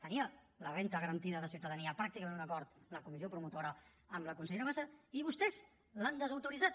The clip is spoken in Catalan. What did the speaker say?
tenia la renda garantida de ciutadania pràcticament un acord en la comissió promotora amb la consellera bassa i vostès l’han desautoritzat